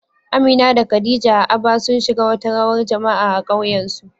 Amina da Khadija a Aba, sun shiga wata rawar jama'a a ƙauyensu